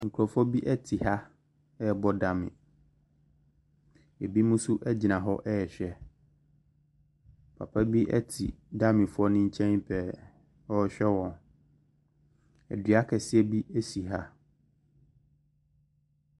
Nkrɔfoɔ bi ɛyi ha ɛbɔ daame, ebi mo so agyina hɔ ɛhwɛ. Papa bi ɛti daamefoɔ ne nkyɛn pɛɛ ɛhwɛ wɔn. Ɛdua kɛse be ɛsi ha.